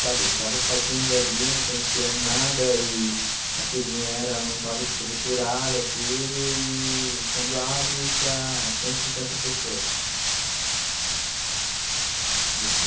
Sabe, estava fazendo ali, não conhecia nada e a cozinha era não estava estruturada, tudo, e quando abre para cento e cinquenta pessoas.